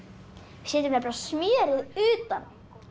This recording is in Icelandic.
setjum nefnilega smjörið utan